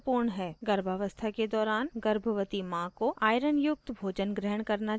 गर्भावस्था के दौरान गर्भवती माँ को iron युक्त भोजन ग्रहण करना चाहिए